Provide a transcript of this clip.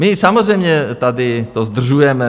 My samozřejmě tady to zdržujeme.